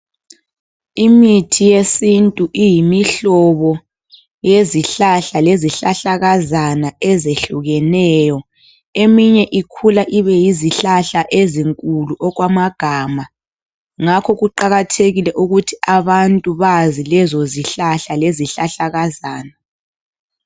Imithi yesintu iyimihlobo yezihlahla lezihlahlakazana ezehlukeneyo .Eminye ikhula ibe yizihlahla ezinkulu okwamagama, ngakho kuqakathekile ukuthi abantu Bazi lezo zihlahla lezihlahlakazana.